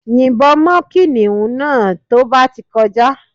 Yìnbọn mọ́ kìnìún náà tó bá ti kọjá